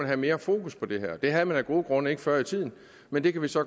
have mere fokus på det her det havde man af gode grunde ikke før i tiden men det kan vi så